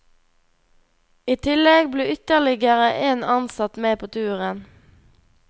I tillegg ble ytterligere en ansatt med på turen.